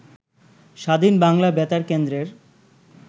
স্বাধীন বাংলা বেতার কেন্দ্রের